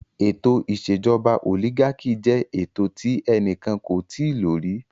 Ètò ìṣèjọba olígákì jẹ ètò tí ẹnikẹ́ni kò tíì lo rí.